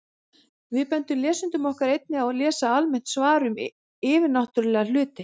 Við bendum lesendum okkar einnig á að lesa almennt svar um yfirnáttúrulega hluti.